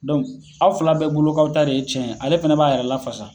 aw fila bɛɛ bolo k'aw ta de ye cɛn ye ale fana b'a yɛrɛ lafasa.